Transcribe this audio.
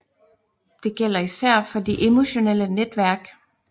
Det gælder især for de emotionelle netværk